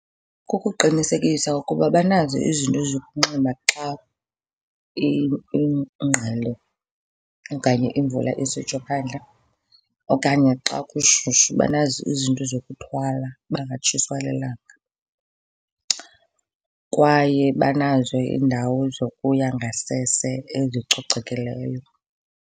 Kukuqinisekisa ukuba banazo izinto zokunxiba xa ingqele okanye imvula isitsho phandle, okanye xa kushushu banazo izinto zokuthwala bangatshiswa lilanga. Kwaye banazo iindawo zokuya ngasese ezicocekileyo.